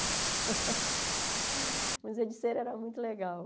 O Museu de Cera era muito legal.